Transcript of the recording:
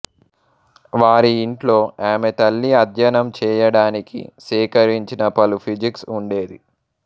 వారి ఇంట్లో ఆమె తల్లి అధ్యనంచేయడానికి సేకరించిన పలు ఫిజిక్స్ ఉండేవి